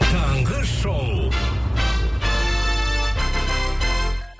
таңғы шоу